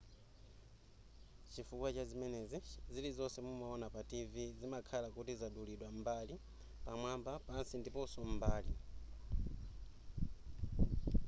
chifukwa chazimenezi zilizonse mumaona pa tv zimakhala kuti zadulidwa mbali pamwamba pansi ndiponso m'mbali